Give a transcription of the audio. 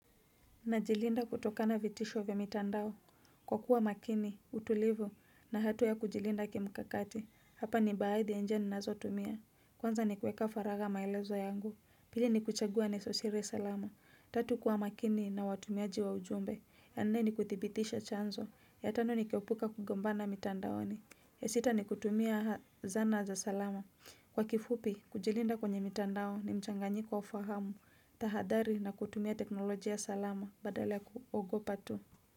Najilinda kutokana na vitisho vya mitandao. Kwa kuwa makini, mtulivu na hatua ya kujilinda kimkakati. Hapa ni baadhi ya njia ninazotumia. Kwanza ni kuweka faragha maelezo yangu. Pili ni kuchagua nenosiri salama. Tatu kuwa makini na watumiaji wa ujumbe. Ya nne ni kuthibitisha chanzo. Ya tano ni keupuka kugombana mitandaoni. Ya sita ni kutumia zana za salama. Kwa kifupi, kujilinda kwenye mitandao ni mchanganyiko wa fahamu. Tahadhari na kutumia teknolojia salama badala ya kuogopa tu.